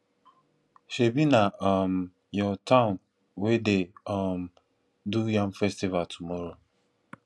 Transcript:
shebi na um your town wey dey um do yam festival tomorrow